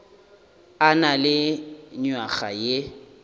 a na le nywaga ye